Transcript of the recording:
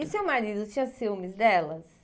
E seu marido tinha ciúmes delas?